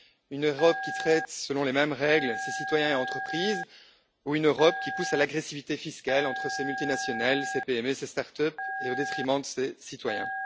Une Europe qui traite selon les mêmes règles ses citoyens et ses entreprises ou une Europe qui pousse à l'agressivité fiscale entre ses multinationales, ses PME et ses start up au détriment de ses citoyens?